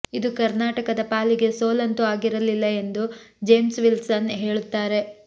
ಇದು ಕರ್ನಾಟಕದ ಪಾಲಿಗೆ ಸೋಲಂತೂ ಆಗಿರಲಿಲ್ಲ ಎಂದು ಜೇಮ್ಸ್ ವಿಲ್ಸನ್ ಹೇಳುತ್ತಾರೆ